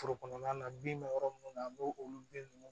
Foro kɔnɔna na bin bɛ yɔrɔ minnu na an b'o olu bin ninnu